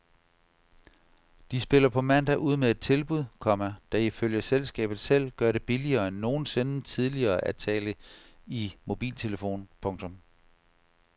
De spiller på mandag ud med et tilbud, komma der ifølge selskabet selv gør det billigere end nogensinde tidligere at tale i mobiltelefon. punktum